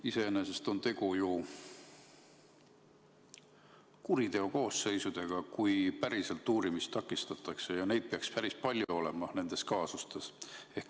Iseenesest on tegu ju kuriteokoosseisudega, kui päriselt uurimist takistatakse, ja neid peaks nendes kaasustes olema päris palju.